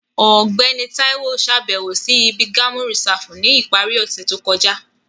Ọgbẹni Tayo ṣabẹwo si ibi Gamu Risafu ni ipari ose to kọja.